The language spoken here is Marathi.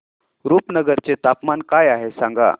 रुपनगर चे तापमान काय आहे सांगा